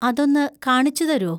അതൊന്ന് കാണിച്ചുതരോ?